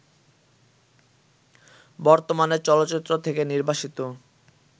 বর্তমানে চলচ্চিত্র থেকে নির্বাসিত